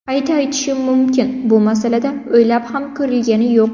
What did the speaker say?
Qayta aytishim mumkin, bu masalada o‘ylab ham ko‘rilgani yo‘q.